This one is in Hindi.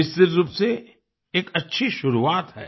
निश्चित रूप से एक अच्छी शुरुआत है